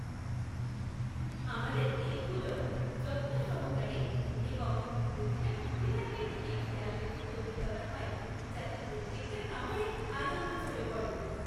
আমাদের কেকগুলো যত্ন সহকারে এবং প্রতিটা খুঁটিনাটির দিকে খেয়াল রেখে তৈরি করা হয় যাতে প্রত্যেকটা কামড়ে আনন্দ ঝরে পড়ে।